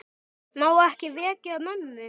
Má ekki vekja mömmu.